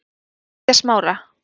Fitjasmára